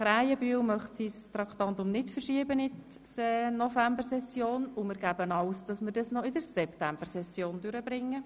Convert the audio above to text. Krähenbühl möchte das Traktandum 72 nicht verschieben, und wir bemühen uns, es noch in der Septembersession durchzubringen.